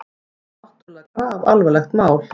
Þetta er náttúrlega grafalvarlegt mál.